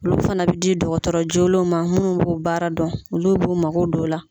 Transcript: Olu fana bɛ di dɔgɔtɔrɔ joolenw ma minnu b'o baara dɔn olu b'o mago don o la.